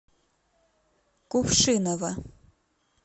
кувшиново